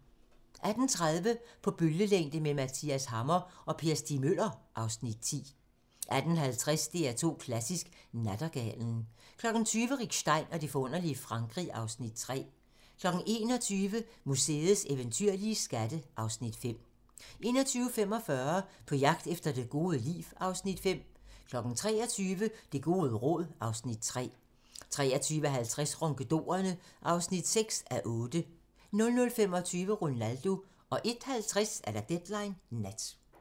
18:30: På bølgelængde med Mathias Hammer & Per Stig Møller (Afs. 10) 18:50: DR2 Klassisk: Nattergalen 20:00: Rick Stein og det forunderlige Frankrig (Afs. 3) 21:00: Museets eventyrlige skatte (Afs. 5) 21:45: På jagt efter det gode liv (Afs. 5) 23:00: Det gode råd (Afs. 3) 23:50: Ronkedorerne (6:8) 00:20: Ronaldo 01:50: Deadline Nat